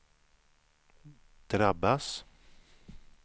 drabbas